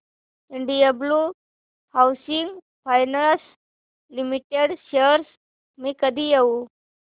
Indiabulls housing finance limited shares मी कधी घेऊ